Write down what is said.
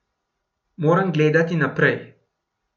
Moram gledati naprej.